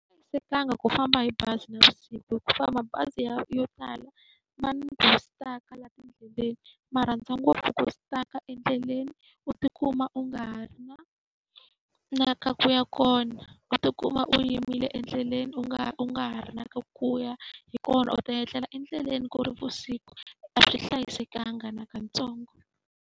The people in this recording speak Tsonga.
ku famba hi bazi navusiku hikuva mabazi ya yo tala ma ni ku stuck-a laha tindleleni. Ma rhandza ngopfu ku stuck-a endleleni, u tikuma u nga ha ri na na ka ku ya kona, u tikuma u yimile endleleni u nga u nga ha ri na ka ku ya. Hi kona u ta etlela endleleni ku ri vusiku a swi hlayisekanga nakatsongo.